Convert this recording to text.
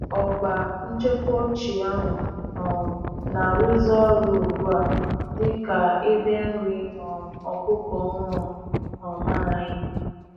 Ọgba nchekwa ochie ahụ um na-arụzi ọrụ ugbu a dị ka ebe nri um ọkụkọ ọhụrụ um anyị.